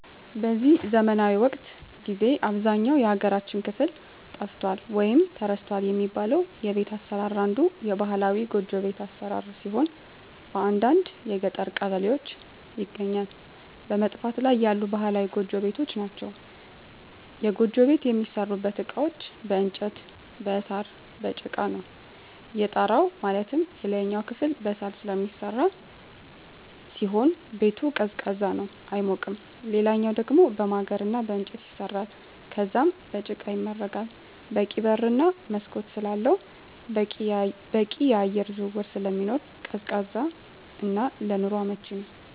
በዚህ ዘመናዊ ወቅት ጊዜ በአብዛኛው የሀገራችን ክፍል ጠፍቷል ወይም ተረስቷል የሚባለው የቤት አሰራር አንዱ ባህላዊ ጎጆ ቤት አሰራር ሲሆን በአንዳንድ የገጠር ቀበሌዎች ይገኛሉ በመጥፋት ላይ ያሉ ባህላዊ ጎጆ ቤቶች ናቸዉ። የጎጆ ቤት የሚሠሩበት እቃዎች በእንጨት እና በሳር፣ በጭቃ ነው። የጣራው ማለትም የላይኛው ክፍል በሳር ስለሚሰራ ሲሆን ቤቱ ቀዝቃዛ ነው አይሞቅም ሌላኛው ደሞ በማገር እና በእንጨት ይሰራል ከዛም በጭቃ ይመረጋል በቂ በር እና መስኮት ስላለው በቂ የአየር ዝውውር ስለሚኖር ቀዝቃዛ እና ለኑሮ አመቺ ነው።